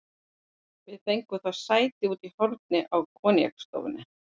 Við fengum þó sæti úti í horni á koníaksstofunni.